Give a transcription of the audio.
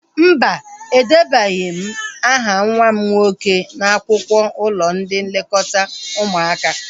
Mba, edebanyeghi m aha nwa m nwoke n'akwụkwọ ụlọ ndị nlekọta ụmụaka